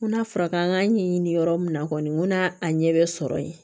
N ko n'a fɔra k'an ka ɲɛɲini yɔrɔ min na kɔni n ko n'a a ɲɛ bɛ sɔrɔ yen